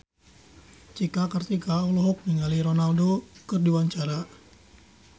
Cika Kartika olohok ningali Ronaldo keur diwawancara